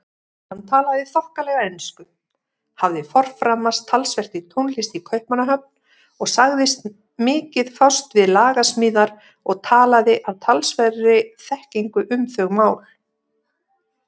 Hann talaði þokkalega ensku, hafði forframast talsvert í tónlist í Kaupmannahöfn og sagðist mikið fást við lagasmíðar og talaði af talsverðri þekkingu um þau mál.